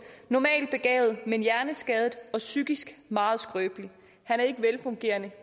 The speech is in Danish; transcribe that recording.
normalt begavet men hjerneskadet og psykisk meget skrøbelig han er ikke velfungerende